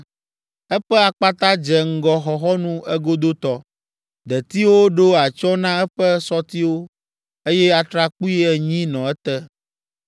Eƒe akpata dze ŋgɔ xɔxɔnu egodotɔ; detiwo ɖo atsyɔ̃ na eƒe sɔtiwo, eye atrakpui enyi nɔ ete.